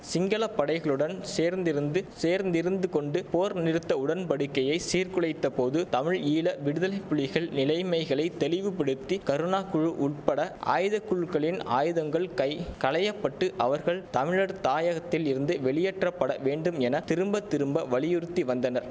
சிங்கள படைகளுடன் சேர்ந்திருந்து சேர்ந்து இருந்து கொண்டு போர் நிறுத்த உடன்படிக்கையை சீர்குலைத்த போது தமிழ் ஈழ விடுதலைப்புலிகள் நிலைமைகளை தெளிவுபடுத்தி கருணாகுழு உட்பட ஆயுதக்குழுக்களின் ஆயுதங்கள் கை களையப்பட்டு அவர்கள் தமிழடத் தாயகத்தில் இருந்து வெளியேற்றப்பட வேண்டும் என திரும்ப திரும்ப வலியுறுத்தி வந்தனர்